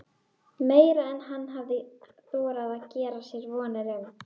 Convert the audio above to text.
Að minnsta kosti er hann það í myndunum.